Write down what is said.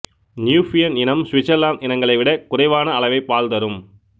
Nubian இனம் Switzerland இனங்களை விட குறைவான அளவே பால் தரும்